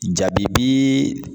Jabibi